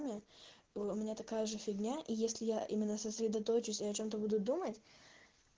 нет была у меня такая же фигня и если я именно сосредоточусь и о чем-то буду думать